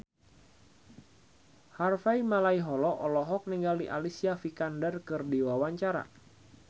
Harvey Malaiholo olohok ningali Alicia Vikander keur diwawancara